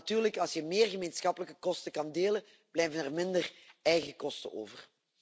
Want natuurlijk, als je meer gemeenschappelijke kosten kan delen, blijven er minder eigen kosten over.